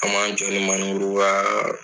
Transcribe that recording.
An man jɔ ni ka